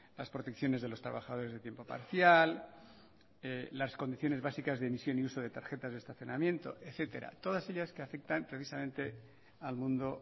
las protecciones de los trabajadores de tiempo parcial las condiciones básicas de emisión y uso de tarjetas de estacionamiento etcétera todas ellas que afectan precisamente al mundo